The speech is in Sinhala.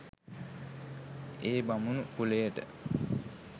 ඒ බමුණු කුලයට